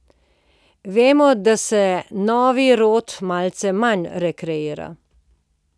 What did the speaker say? Vemo, da se novi rod malce manj rekreira.